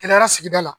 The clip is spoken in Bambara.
Kɛnɛya sigida la